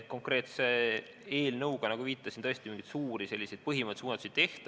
Konkreetse eelnõuga, nagu viitasin, tõesti mingeid suuri põhimõttelisi muudatusi ei tehta.